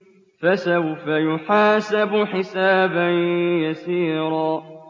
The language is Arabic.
فَسَوْفَ يُحَاسَبُ حِسَابًا يَسِيرًا